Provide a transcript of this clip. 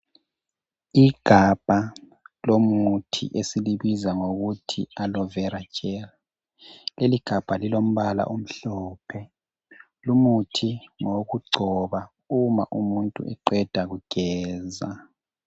Igabha lomuthi esilibiza ngokuthi yi alovera jeli. Leligabha lilombala omhlophe. Lumuthi ngowokugcoba uma umuntu eqeda kugeza.